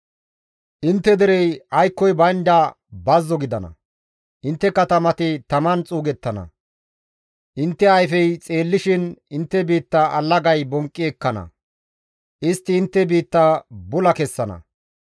Intte derey aykkoy baynda bazzo gidana; intte katamati taman xuugettana; intte ayfey xeellishin intte biitta allagay bonqqi ekkana; istti intte biitta bula kessana.